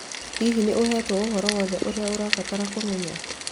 Hihi nĩ ũheetwo ũhoro wothe ũrĩa ũrabatara kũmenya?